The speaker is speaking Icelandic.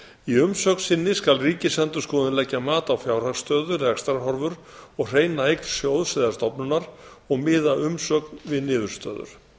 í umsögn sinni skal ríkisendurskoðun leggja mat á fjárhagsstöðu rekstrarhorfur og hreina eign sjóðs eða stofnunar og miða umsögn við niðurstöður